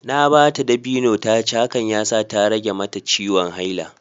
Na ba ta dabino ta ci, hakan ya sa ta rage mata ciwon haila